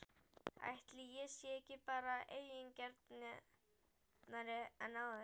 Ætli ég sé ekki bara eigingjarnari en áður?!